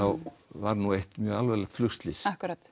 var eitt alvarlegt flugslys